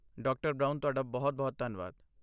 ਡਾ. ਬ੍ਰਾਉਨ ਤੁਹਾਡਾ ਬਹੁਤ ਬਹੁਤ ਧੰਨਵਾਦ।